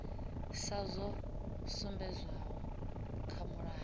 sa zwo sumbedzwaho kha mulayo